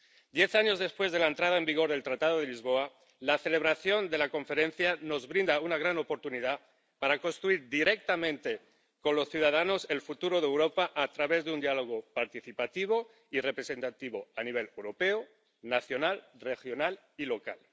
Diez años después de la entrada en vigor del Tratado de Lisboa, la celebración de la conferencia nos brinda una gran oportunidad para construir directamente con los ciudadanos el futuro de Europa a través de un diálogo participativo y representativo a nivel europeo, nacional, regional y local.